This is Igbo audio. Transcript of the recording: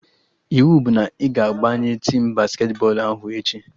Iwu bụ na ị ga-abanye tim basketi bọọlụ ahụ echi!